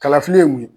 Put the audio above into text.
Kalafili ye mun ye